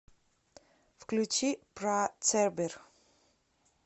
включи пра цербер